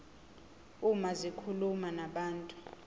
uma zikhuluma nabantu